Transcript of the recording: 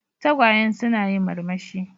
Tagwayen suna yin murmushi.